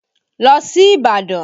Lọ sí Ìbàdàn!